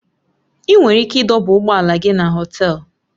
Ị nwere ike ịdọba ụgbọ ala gị na Họtelu